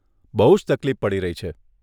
બહુ જ તકલીફ પડી રહી છે.